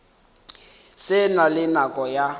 se na le nako ya